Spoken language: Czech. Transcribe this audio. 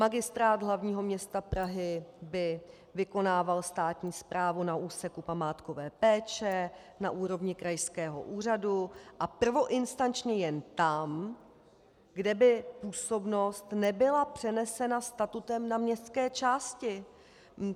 Magistrát hlavního města Prahy by vykonával státní správu na úseku památkové péče na úrovni krajského úřadu a prvoinstančně jen tam, kde by působnost nebyla přenesena statutem na městské části.